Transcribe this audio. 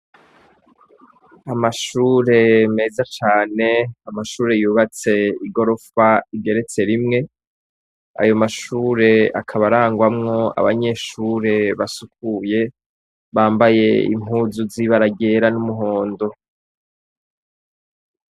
Amashure meza cane, amashure yubatse igorofa igeretse rimwe, ayo mashure akaba arangwamwo abanyeshure basukuye, bambaye impuzu z'ibara ryera n'umuhondo.